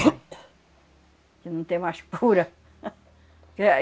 Que não tem mais cura. Que